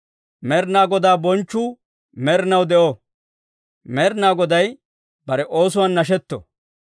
Med'inaa Godaa bonchchuu med'inaw de'o; Med'inaa Goday bare oosuwaan nashetto.